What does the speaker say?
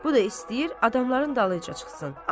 Bu da istəyir adamların dalıyca çıxsın.